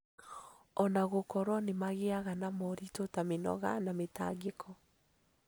O na gũkorwo nĩ magĩaga na moritũ ta mĩnoga na mĩtangĩko.